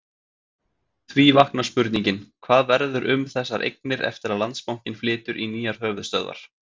Því vaknar spurningin, hvað verður um þessar eignir eftir að Landsbankinn flytur í nýjar höfuðstöðvar?